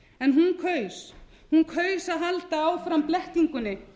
en hún kaus að halda áfram blekkingunni